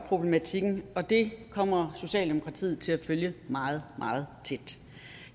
problematikken og det kommer socialdemokratiet til at følge meget meget tæt